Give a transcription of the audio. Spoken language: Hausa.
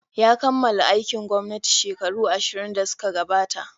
Ya kammala aikin gwamnati shekaru ashirn da suka gabata.